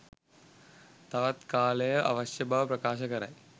තවත් කාලය අවශ්‍ය බව ප්‍රකාශ කරයි